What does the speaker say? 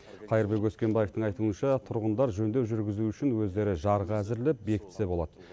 қайырбек өскенбаевтың айтуынша тұрғындар жөндеу жүргізу үшін өздері жарғы әзірлеп бекітсе болады